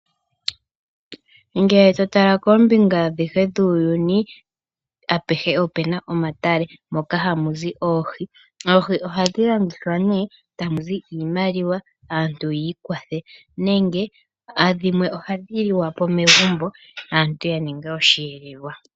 Ngele to tala koombinga adhihe dhuuyuni, apuhe opuna omatale moka hamu zi oohi. Oohi ohadhi landithwa nee, tamu zi iimaliwa, aantu yi ikwathe nenge dhimwe ohadhi liwa po megumbo, aantu ya ninga osheelelwa.